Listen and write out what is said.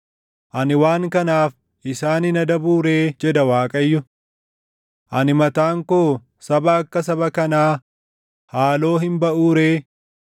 Ani waan kanaaf isaan hin adabuu ree?” jedha Waaqayyo. “Ani mataan koo saba akka saba kanaa, haaloo hin baʼuu ree?”